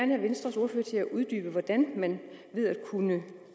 have venstres ordfører til at uddybe hvordan kan man ved at